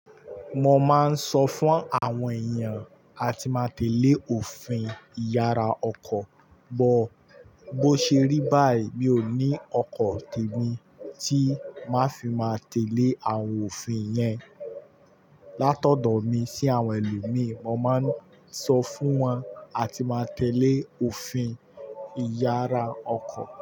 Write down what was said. Mo máa ń sọ fún àwọn èèyàn a ti máa tẹ̀lé òfin ìyara ọkọ̀, bọ̀ bó ṣe rí báyìí mi ò ní ọkọ̀ tèmi tí máa fi máa tẹ̀lé àwọn òfin yẹn. Látọ̀dọ̀ mi sí àwọn ẹlòmíì, mo máa ń sọ fún wọn a ti máa tẹ̀lé òfin ìyara ọkọ̀